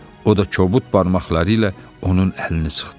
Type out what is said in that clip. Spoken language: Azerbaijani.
O da kobud barmaqları ilə onun əlini sıxdı.